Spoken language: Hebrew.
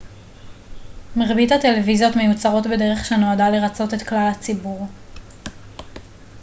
מרבית הטלוויזיות מיוצרות בדרך שנועדה לרצות את כלל הציבור